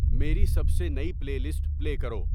میری سب سے نئی پلےلسٹ پلے کرو